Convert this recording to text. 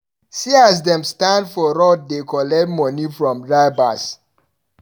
See as dem standa for road dey collect moni from drivers.